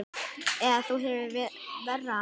Eða þú hefur verra af